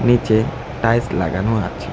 নিচে টাইলস লাগানো আছে।